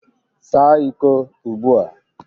Saa iko ugbu a